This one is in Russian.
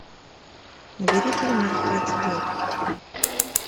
набери фильм мертвец идет